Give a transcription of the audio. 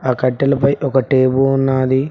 ఆ కట్టెలపై ఒక టేపు ఉన్నాది.